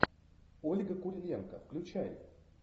ольга куриленко включай